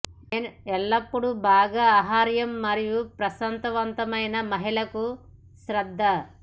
men ఎల్లప్పుడూ బాగా ఆహార్యం మరియు ప్రకాశవంతమైన మహిళలకు శ్రద్ద